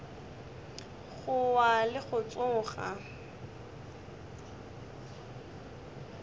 go wa le go tsoga